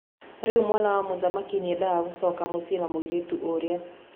Rĩu mwana wa mũthamaki nĩendaga gũcoka mũciĩ na mũirĩtu ũrĩa.